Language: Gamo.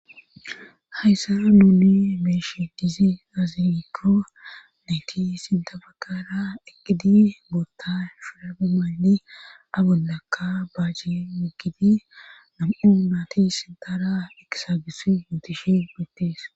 hayssa nuuni be'eeshe dizi aazi gikko nayti sintafakara eqqidi bootta shirabe maayidi abonlakka baajji mugidi nam'u naati sintara ekisaagisu mootishe betees